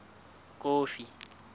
kofi